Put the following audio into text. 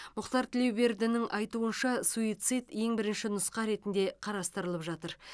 мұхтар тілеубердінің айтуынша суицид ең бірінші нұсқа ретінде қарастырылып жатыр